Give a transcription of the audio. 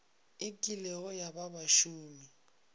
e kilego ya ba bašomi